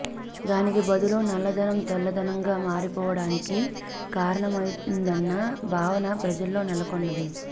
దానికి బదులు నల్లధనం తెల్లధనంగా మారిపోవడానికి కారణమయిందన్న భావన ప్రజల్లో నెలకొన్న ది